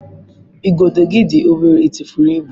Igodo gị dị obere, ị tụfuru ibu?